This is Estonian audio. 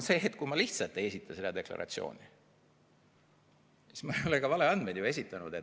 Kui ma lihtsalt ei esita seda deklaratsiooni, siis ma ei ole ju ka valeandmeid esitanud.